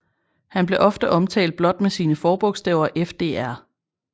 Han blev ofte omtalt blot med sine forbogstaver FDR